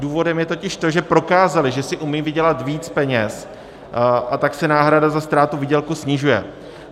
Důvodem je totiž to, že prokázali, že si umí vydělat víc peněz, a tak se náhrada za ztrátu výdělku snižuje.